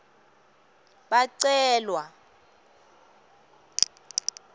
bacelwa